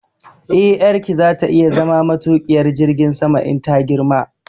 Eh, ƴarki za ta iya zama matuƙiyar jirgin sama in ta girma